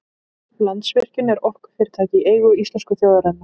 Landsvirkjun er orkufyrirtæki í eigu íslensku þjóðarinnar.